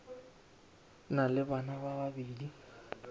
na le bana ba babedi